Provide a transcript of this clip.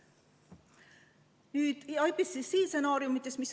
Nüüd IPPC stsenaariumidest.